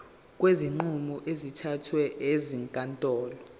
kwezinqumo ezithathwe ezinkantolo